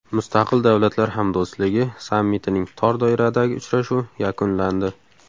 Mustaqil Davlatlar Hamdo‘stligi sammitining tor doiradagi uchrashuvi yakunlandi.